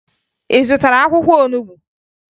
Ị zụtara akwụkwọ olubu?